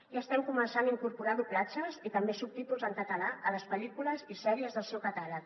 i estem començant a incorporar doblatges i també subtítols en català a les pel·lícules i sèries del seu catàleg